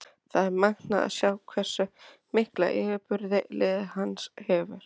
Það er magnað að sjá hversu mikla yfirburði liðið hans hefur.